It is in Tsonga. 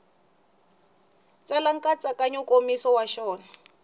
tsala nkatsakanyo nkomiso wa xona